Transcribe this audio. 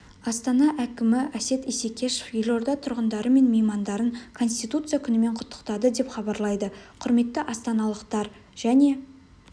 астана әкімі әсет исекешев елорда тұрғындары мен меймандарын конституция күнімен құттықтады деп хабарлайды құрметті астаналықтар және